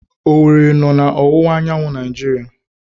Owere nọ na ọwụwa anyanwụ Naijiria